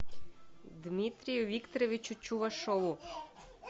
дмитрию викторовичу чувашову